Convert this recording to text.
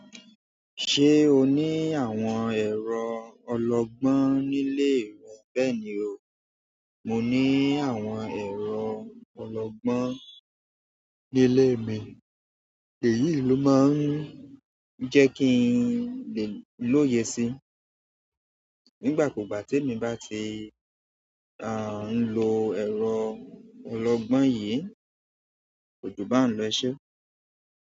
Ṣé o ní àwọn ẹ̀rọ ọlọgbọ́n nílé rẹ? Bẹ́ẹ̀ni o, mo ní àwọn ẹ̀rọ ọlọgbọ́n nílé mi, èyií ló máa ń jẹ́ kí n lè lóye sí i. Nígbàkúùgbà tèmi bá ti, a ń lo ẹ̀rọ ọlọgbọ́n yìí kó jù báuń lọ e ṣẹ́